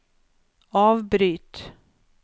avbryt